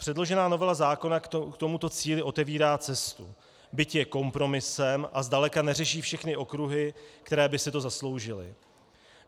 Předložená novela zákona k tomuto cíli otevírá cestu, byť je kompromisem a zdaleka neřeší všechny okruhy, které by si to zasloužily.